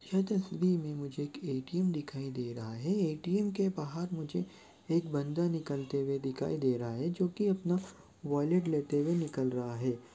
यह तस्वीर में मुझे एक ए.टी.एम दिखाई दे रहा है ए.टी.एम के बाहर मुझे एक बंदा निकलते हुए दिखाई दे रहा है जोकि अपना वॉलेट लेते हुए निकल रहा हैं।